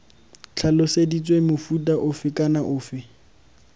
tlhaloseditswe mofuta ofe kana ofe